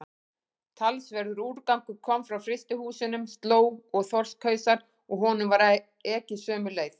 Talsverður úrgangur kom frá frystihúsunum, slóg og þorskhausar, og honum var ekið sömu leið.